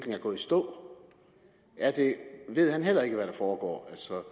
stå ved han heller ikke hvad der foregår altså